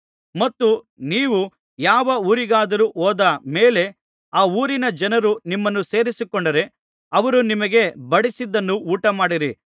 ಮತ್ತು ನೀವು ಯಾವ ಊರಿಗಾದರೂ ಹೋದ ಮೇಲೆ ಆ ಊರಿನ ಜನರು ನಿಮ್ಮನ್ನು ಸೇರಿಸಿಕೊಂಡರೆ ಅವರು ನಿಮಗೆ ಬಡಿಸಿದ್ದನ್ನು ಊಟಮಾಡಿರಿ